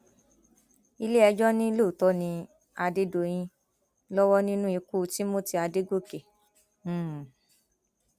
iléẹjọ ni lóòótọ ni adédọyìn lọwọ nínú ikú timothy adọgọkẹ um